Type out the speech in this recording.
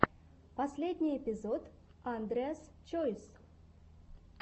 последний эпизод андреас чойс